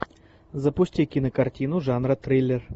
запусти кинокартину жанра триллер